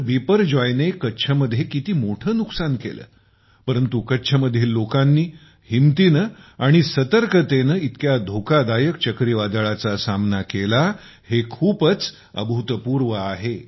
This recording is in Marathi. बिपरजॉय ने कच्छमध्ये किती मोठे नुकसान केले परंतु कच्छ मधील लोकांनी हिंमतीने आणि सतर्कतेने इतक्या धोकादायक चक्रीवादळाचा सामना केला हे खूपच अभूतपूर्व आहे